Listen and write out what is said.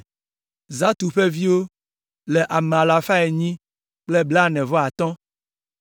Zatu ƒe viwo le ame alafa enyi kple blaene-vɔ-atɔ̃ (845).